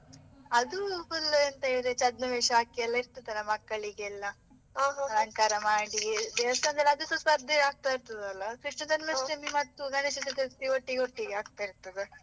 ಅದು full ಎಂತ ಹೇಳಿದ್ರೆ ಛದ್ಮವೇಷ ಹಾಕಿ ಎಲ್ಲ ಇರ್ತದೆ ಅಲ್ಲ, ಮಕ್ಕಳಿಗೆ ಎಲ್ಲ ಮಾಡಿ, ದೇವಸ್ಥಾನದಲ್ಲಿ ಅದು ಸಹ ಸ್ಪರ್ಧೆ ಎಲ್ಲ ಆಗ್ತಾ ಇರ್ತದೆ ಅಲ್ಲ ಕೃಷ್ಣ ಜನ್ಮಾಷ್ಟಮಿ ಮತ್ತು ಗಣೇಶ ಚತುರ್ಥಿ ಒಟ್ಟಿಗೆ ಒಟ್ಟಿಗೆ ಆಗ್ತಾ ಇರ್ತದೆ.